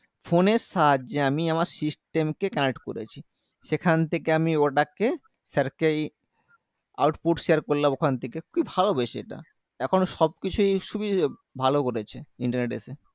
phone এর সাহায্যে আমি আমার system কে connect করেছি সেখান থেকে আমি ওটাকে sir কে ই output share করলাম ওখান থেকে খুবই ভালো বেশ এটা এখন সবকিছুই সুবি ভালো করেছে internet এসে